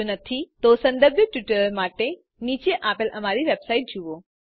જો નહિં તો સંબંધિત ટ્યુટોરિયલ્સ માટે નીચે આપેલ અમારી વેબસાઇટ જુઓ